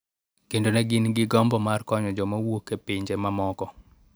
Kendo ne gin gi gombo mar konyo joma wuok e pinje mamoko.